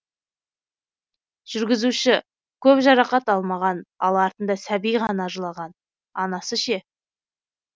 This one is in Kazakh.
жүргізуші көп жарақат алмаған ал артында сәби ғана жылаған анасы ше